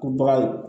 Ko baga ye